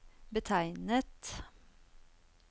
betegnet